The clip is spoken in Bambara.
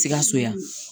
Sikaso yan